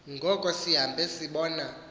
ngoko sihambe sibona